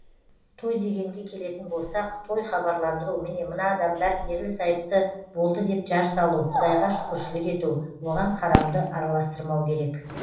той дегенге келетін болсақ той хабарландыру міне мына адамдар ерлі зайыпты болды деп жар салу құдайға шүкіршілік ету оған харамды араластырмау керек